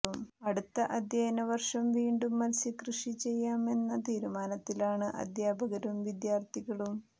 അടുത്ത അധ്യയന വർഷം വീണ്ടും മത്സ്യക്കൃഷി ചെയ്യാമെന്ന തീരുമാനത്തിലാണ് അധ്യാപകരും വിദ്യാർഥികളും